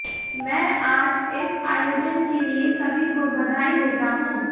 मै आज इस आयोजन के लिए सभी को बधाई देता हूॅ